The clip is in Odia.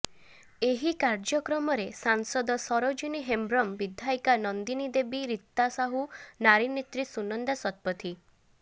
ଏହି କାର୍ଯ୍ୟକ୍ରମରେ ସାଂସଦ ସରୋଜିନୀ ହେମ୍ବ୍ରମ୍ ବିଧାୟିକା ନନ୍ଦିନୀ ଦେବୀ ରୀତା ସାହୁ ନାରୀ ନେତ୍ରୀ ସୁନନ୍ଦା ଶତପଥୀ